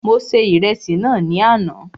Mo se Ìrẹsì náà ní àná